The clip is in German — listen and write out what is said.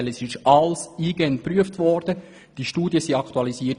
Denn es wurde alles eingehend geprüft und die Studien wurden aktualisiert.